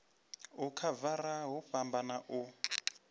u khavara hu fhambana u